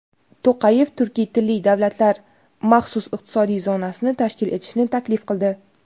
To‘qayev turkiy tilli davlatlar maxsus iqtisodiy zonasini tashkil etishni taklif qildi.